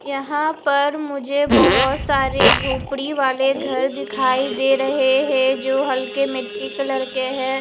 यहाँ पर मुझे बहोत सारे झोपडी वाले घर दिखाई दे रहे है जो हल्के मिटटी कलर के है।